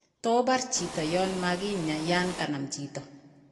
To bar chito yon magakinya yan kanam chito?